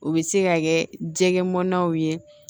U bɛ se ka kɛ jɛgɛmanaw ye